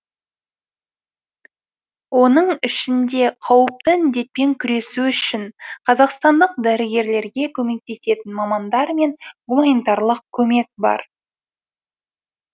оның ішінде қауіпті індетпен күресу үшін қазақстандық дәрігерлерге көмектесетін мамандар мен гумманитарлық көмек бар